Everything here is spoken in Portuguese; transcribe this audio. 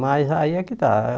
Mas aí é que tá.